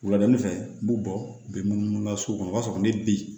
Wuladani fɛ n b'u bɔ bi munumunu ka so kɔnɔ o b'a sɔrɔ ne bi